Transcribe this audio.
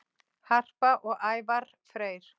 Harpa og Ævarr Freyr.